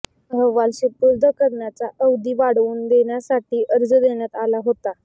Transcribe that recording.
अहवाल सुपुर्द करण्याचा अवधी वाढवून देण्यासाठी अर्ज देण्यात आला होता